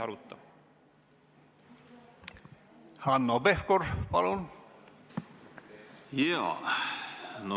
Hanno Pevkur, palun!